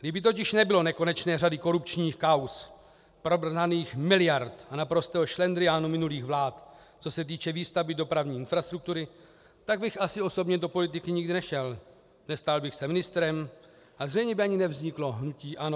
Kdyby totiž nebylo nekonečné řady korupčních kauz, promrhaných miliard a naprostého šlendriánu minulých vlád, co se týče výstavby dopravní infrastruktury, tak bych asi osobně do politiky nikdy nešel, nestal bych se ministrem a zřejmě by ani nevzniklo hnutí ANO.